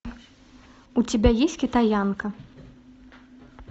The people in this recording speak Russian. у тебя есть китаянка